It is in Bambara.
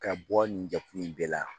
Ka bɔ nin jati in bɛɛ la